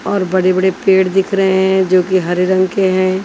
और बड़े-बड़े पेड़ दिख रहे हैं जो कि हरे रंग के हैं।